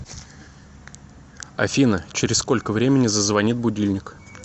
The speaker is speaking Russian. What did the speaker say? афина через сколько времени зазвонит будильник